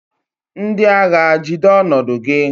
Ndị agha, jide ọnọdụ gị!